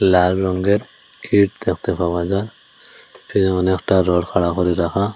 লাল রঙ্গের ইঁট দেখতে পাওয়া যায় পিহনে একটা রড খাঁড়া করে রাখা।